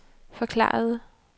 forklarede